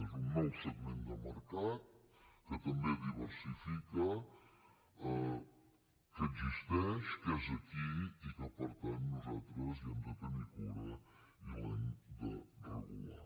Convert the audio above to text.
és un nou segment de mercat que també diversifica que existeix que és aquí i que per tant nosaltres n’hem de tenir cura i l’hem de regular